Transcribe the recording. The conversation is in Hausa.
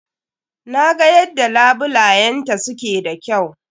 Na ga yadda labulayenta su ke da kyau.